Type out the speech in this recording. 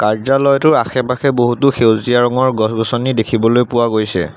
কাৰ্য্যালয়টোৰ আশে পাশে বহুতো সেউজীয়া গছ গছনি দেখিবলৈ পোৱা গৈছে।